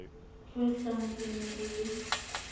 kgwehlang e ne e le